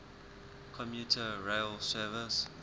commuter rail service